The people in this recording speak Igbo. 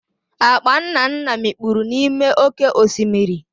Akpa Nnanna mikpuru n'ime oke osimiri.